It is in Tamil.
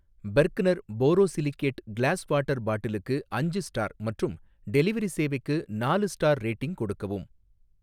பெர்க்னர் போரோசிலிகேட் கிளாஸ் வாட்டர் பாட்டிலுக்கு அஞ்சு ஸ்டார் மற்றும் டெலிவரி சேவைக்கு நாலு ஸ்டார் ரேட்டிங் கொடுக்கவும்.